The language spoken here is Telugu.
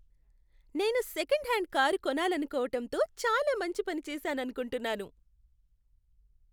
నేను సెకండ్ హ్యాండ్ కారు కొనాలనుకొవటంతో చాలా మంచి పని చేశాననుకుంటున్నాను.